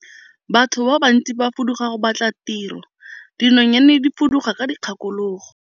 Batho ba bantsi ba fuduga go batla tiro, dinonyane di fuduga ka dikgakologo.